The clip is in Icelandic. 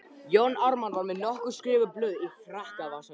Jón Ármann var með nokkur skrifuð blöð í frakkavasanum.